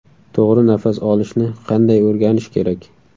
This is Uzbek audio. To‘g‘ri nafas olishni qanday o‘rganish kerak?